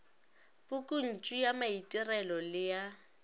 pukuntšu ya maitirelo le ya